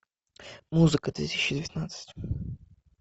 музыка две тысячи девятнадцать